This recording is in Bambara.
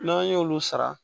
N'an y'olu sara